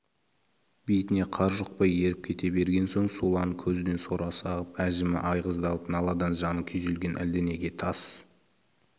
бетіне қар жұқпай еріп кете берген соң суланып көзінен сорасы ағып әжімі айғыздалып наладан жаны күйзелген әлденеге тас